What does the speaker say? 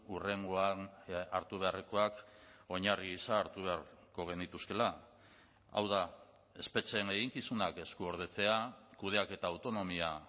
hurrengoan hartu beharrekoak oinarri gisa hartu beharko genituzkeela hau da espetxeen eginkizunak eskuordetzea kudeaketa autonomia